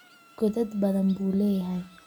Godad badan buu leeyahay